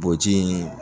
Boji in